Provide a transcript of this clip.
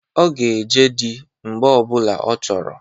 Ọ ga-eje dị mgbe ọ bụla ọ chọrọ.